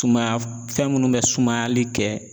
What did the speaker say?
Suma fɛn minnu bɛ sumayali kɛ